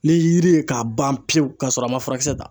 Ni yiri ye k'a ban pewu k'a sɔrɔ a ma furakisɛ ta!